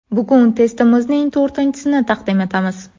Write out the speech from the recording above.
Bugun testimizning to‘rtinchisini taqdim etamiz.